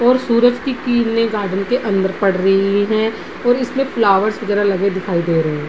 और सूरज की किरनें गार्डन के अन्दर पड़ रही हैं और इसमें फ्लावर्स वगैरा लगे दिखाई दे रही है।